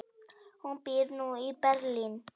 Hún býr nú í Berlín.